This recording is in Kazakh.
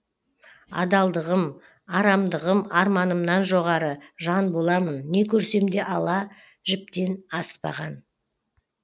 адалдығым арамдығым арманымнан жоғары жан боламын не көрсем де ала жіптен аспаған